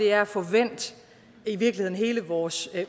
er at få vendt hele vores